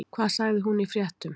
Hvað sagði hún í fréttum?